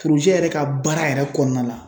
yɛrɛ ka baara yɛrɛ kɔnɔna na